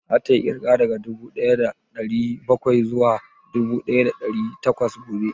Za ta yi ƙirga daga dubu ɗaya da ɗari bakwai zuwa dubu ɗaya da ɗari takwas gobe?